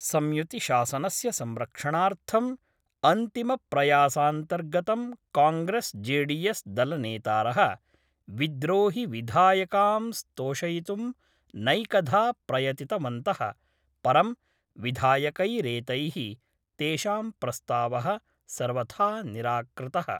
संयुतिशासनस्य संरक्षणार्थम् अन्तिम प्रयासान्तर्गतं कॉंग्रेस् जेडीएस् दलनेतार: विद्रोहिविधायकांस्तोषयितुं नैकधा प्रयतितवन्त:, परं विधायकैरेतैः तेषां प्रस्तावः सर्वथा निराकृत:।